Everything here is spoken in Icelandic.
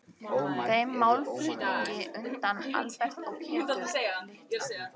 Þeim málflutningi undu Albert og Pétur illa.